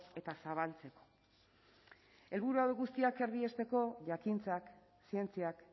eta zabaltzeko helburu hauek guztiak erdiesteko jakintzak zientziak